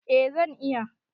Eh zan iya